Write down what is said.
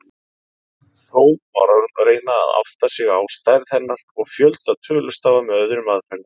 Þó má reyna að átta sig á stærð hennar og fjölda tölustafa með öðrum aðferðum.